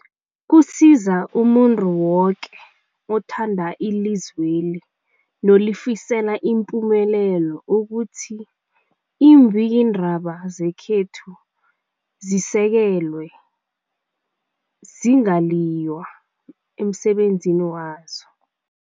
Kusiza umuntu woke othanda ilizweli nolifisela ipumelelo ukuthi iimbikiindaba zekhethu zisekelwe, zingaliywa emsebenzini wazo.